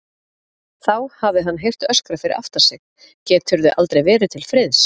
Þá hafi hann heyrt öskrað fyrir aftan sig: Geturðu aldrei verið til friðs?